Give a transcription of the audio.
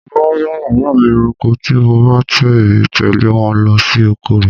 Mo máa ń bá bàbá mi roko tí mo bá ti tẹle lọ sí oko rẹ̀.